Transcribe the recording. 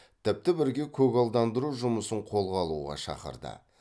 тіпті бірге көгалдандыру жұмысын қолға алуға шақырды